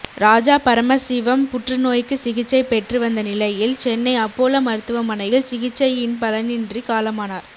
ராஜாபரமசிவம் புற்றுநோய்க்கு சிகிச்சை பெற்று வந்த நிலையில் சென்னை அப்போலா மருத்துவமனையில் சிகிச்சையின் பலனின்றி காலமானார்